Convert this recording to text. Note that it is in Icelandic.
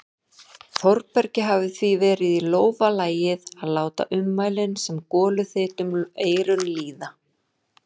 Þórbergi hefði því verið í lófa lagið að láta ummælin sem goluþyt um eyrun líða.